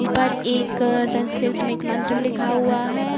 ऊपर एक संस्कृत में एक मंत्र लिखा हुआ है।